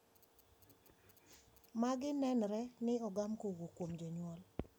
Magi nenre ni ogam kowuok kuom janyuol.